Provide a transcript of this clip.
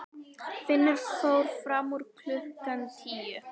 Finnur fór fram úr klukkan tíu.